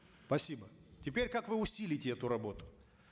спасибо теперь как вы усилите эту работу